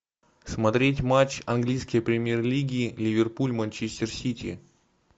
смотреть матч английской премьер лиги ливерпуль манчестер сити